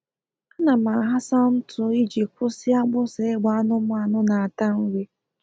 A na m aghasa ntụ iji kwụsị agbịsị ịgba anụmanụ na ata nri